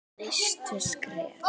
Næstu skref?